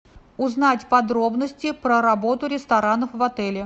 узнать подробности про работу ресторанов в отеле